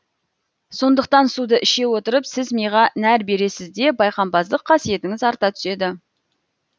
сондықтан суды іше отырып сіз миға нәр бересіз де байқампаздық қасиетіңіз арта түседі